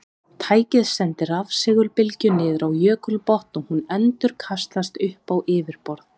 Tækið sendir rafsegulbylgju niður á jökulbotn og hún endurkastast upp á yfirborð.